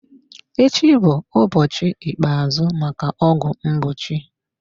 Echi bụ ụbọchị ikpeazụ maka ọgwụ mgbochi.